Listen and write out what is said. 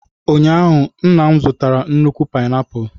Ụnyaahụ, nna m zụtara nnukwu painiapulu.